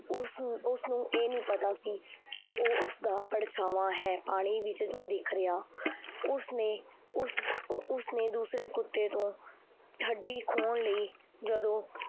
ਉਸ ਨੂੰ ਉਸ ਨੂੰ ਇਹ ਨੀ ਪਤਾ ਸੀ ਕਿ ਉਹ ਉਸਦਾ ਪਰਛਾਵਾਂ ਹੈ ਪਾਣੀ ਵਿੱਚ ਜੋ ਦਿਖ ਰਿਹਾ ਉਸਨੇ ਉਸ ਉਸਨੇ ਦੂਸਰੇ ਕੁੱਤੇ ਤੋਂ ਹੱਡੀ ਖੋਹਣ ਲਈ ਜਦੋਂ